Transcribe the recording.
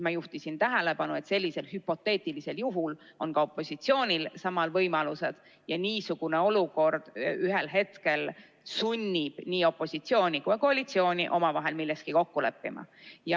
Ma juhtisin tähelepanu, et sellisel hüpoteetilisel juhul on ka opositsioonil samad võimalused ning niisugune olukord ühel hetkel sunnib opositsiooni ja koalitsiooni omavahel milleski kokku leppima.